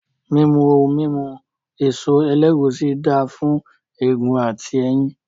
Mímu ohun mímu èso ẹlẹ́gùúsí dáà fún egun àti ẹ̀yìn